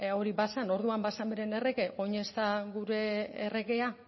hori bazen orduan bazen bere errege orain ez da gure erregea